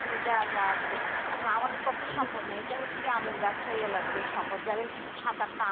মানে যা যা আছে এখন আমাদের পক্ষে সম্ভব না এটা হচ্ছে এখন হচ্ছে আমের ব্যবসায়ী লাগছে জারা সাত আটটা